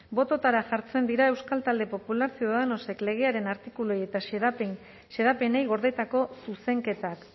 bototara jartzen dira euskal talde popular ciudadanosek legearen artikuluei eta xedapenei gordetako zuzenketak